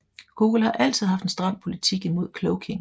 Google har altid haft en stram politik imod cloaking